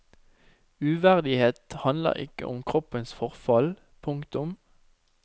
Uverdighet handler ikke om kroppens forfall. punktum